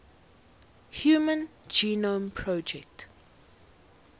human genome project